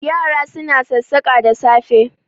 Yara suna sassaƙa da safe